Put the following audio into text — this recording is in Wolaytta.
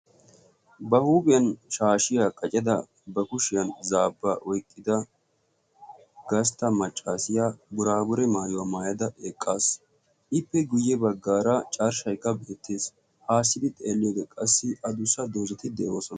ba huuphiyan shaashiyaa qacida ba kushiyan zaabba oyqqida gastta maccaasiya buraabure maayuwaa maayada eqqaas. ippe guyye baggaara carshshaykka beettes. haassidi xeellyode qassi adussa doozati de'oosona.